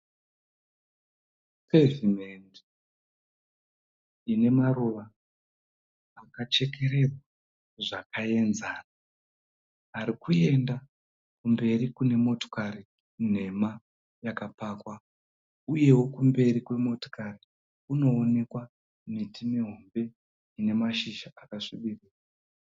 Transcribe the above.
Pavement ine maruva akachekererwa zvakaenzana arikuenda kumberi kunemotokari nhema yakapakwa uyewo kumberi kwemotokari kunoonekwa it mihombe ine mashizha akasvibira.